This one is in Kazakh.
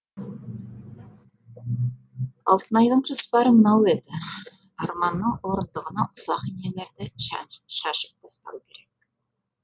алтынайдың жоспары мынау еді арманның орындығына ұсақ инелерді шашып тастау керек